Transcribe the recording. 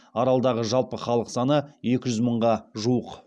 аралдағы жалпы халық саны екі жүз мыңға жуық